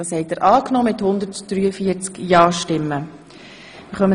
Sie haben die Änderungen im EG ZGB angenommen.